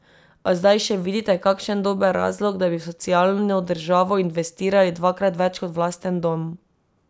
A zdaj še vidite kakšen dober razlog, da bi v socialno državo investirali dvakrat več kot v lasten dom?